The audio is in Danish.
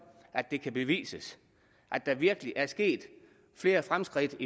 at det kan bevises at der virkelig er sket flere fremskridt